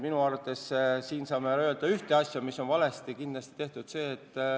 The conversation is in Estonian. Minu arvates me saame praegu öelda ühte asja, mis on kindlasti valesti tehtud.